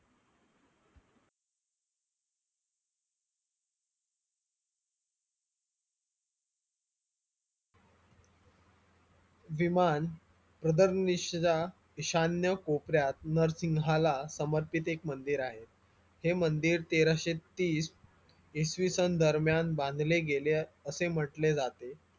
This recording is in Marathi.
विमान प्रदननिश्र ईशान्य कोपऱ्यात नार्सिघाला समर्पित एक मंदिर आहे हे मंदिर तेराशे तीस इसवीसन दरम्यान बांधले गेले असे म्हंटले जाते